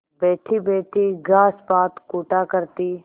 बैठीबैठी घास पात कूटा करती